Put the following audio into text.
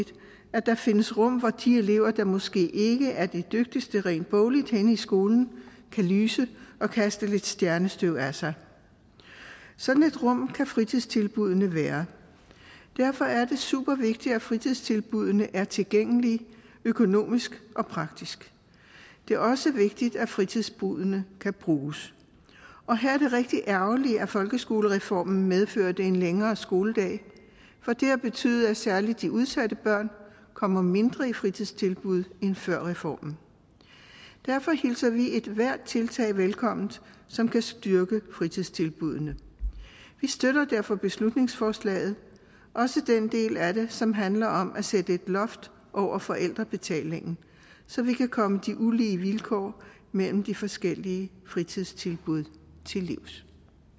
at der findes rum hvor de elever der måske ikke er de dygtigste rent bogligt henne i skolen kan lyse og kaste lidt stjernestøv af sig sådan et rum kan fritidstilbuddene være derfor er det super vigtigt at fritidstilbuddene er tilgængelige økonomisk og praktisk det er også vigtigt at fritidstilbuddene kan bruges her er det rigtig ærgerligt at folkeskolereformen medførte en længere skoledag for det har betydet at særlig de udsatte børn kommer mindre i fritidstilbud end før reformen derfor hilser vi ethvert tiltag velkommen som kan styrke fritidstilbuddene vi støtter derfor beslutningsforslaget også den del af det som handler om at sætte et loft over forældrebetalingen så vi kan komme de ulige vilkår mellem de forskellige fritidstilbud til livs